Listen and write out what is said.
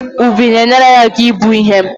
Ùbù na-enyere anyị aka ibu ihe